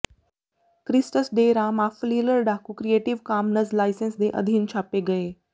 ਕ੍ਰਿਸਟਸ ਡੇ ਰਾਮ ਆਫ਼ ਫਲਿਲਰ ਡਾਕੂ ਕਰੀਏਟਿਵ ਕਾਮਨਜ਼ ਲਾਇਸੈਂਸ ਦੇ ਅਧੀਨ ਛਾਪੇ ਗਏ